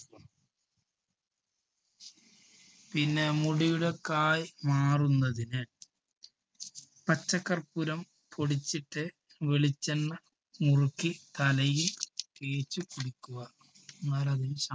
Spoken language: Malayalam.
പിന്നെ മുടിയുടെ കായ് മാറുന്നതിന് പച്ചകർപ്പൂരം പൊടിച്ചിട്ട് വെളിച്ചെണ്ണ മുറുക്കി തലയിൽ തേച്ച് പിടിക്കുക.